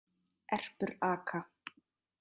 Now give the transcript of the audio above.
Erpur aka.